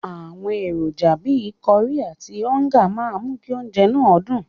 Àwọn èròjà bíi kọrí àti ọ́ńgà máa mú kí oúnjẹ náà dùn.